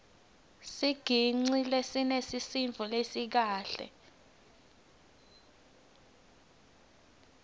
sicigcine sinesisindvo lesikahle